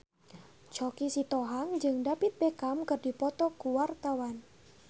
Choky Sitohang jeung David Beckham keur dipoto ku wartawan